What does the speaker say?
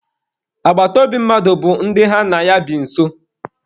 Agbataobi mmadụ bụ ndị ha na ya bi nso.